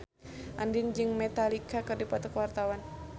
Andien jeung Metallica keur dipoto ku wartawan